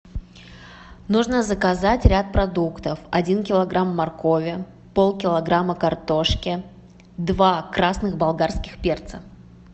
нужно заказать ряд продуктов один килограмм моркови полкилограмма картошки два красных болгарских перца